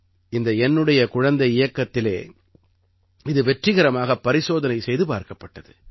இந்த என்னுடைய குழந்தை இயக்கத்திலே இது வெற்றிகரமாகப் பரிசோதனை செய்து பார்க்கப்பட்டது